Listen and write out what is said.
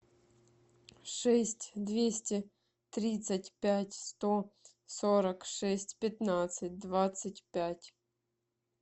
шесть двести тридцать пять сто сорок шесть пятнадцать двадцать пять